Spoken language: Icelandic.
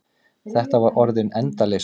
Þetta var orðin endaleysa.